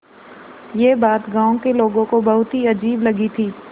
यह बात गाँव के लोगों को बहुत ही अजीब लगी थी